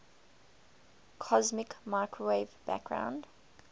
cosmic microwave background